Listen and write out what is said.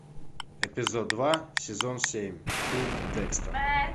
эпизод два сезон семь фильм декстер